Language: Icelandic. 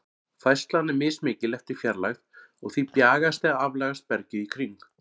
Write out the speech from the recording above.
Færslan er mismikil eftir fjarlægð, og því bjagast eða aflagast bergið í kring.